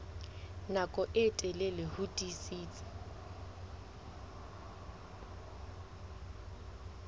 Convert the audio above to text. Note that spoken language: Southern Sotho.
nako e telele ho tiisitse